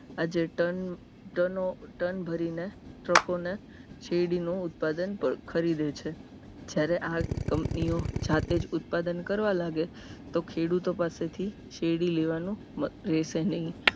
આજે ton ton ભરીને truck ને શેરડીનો ઉત્પાદન પર ખરીદે છે જ્યારે આ company ઓ જાતે જ ઉત્પાદન કરવા લાગે તો ખેડૂતો પાસેથી શેરડી લેવાનું લેશે નહિ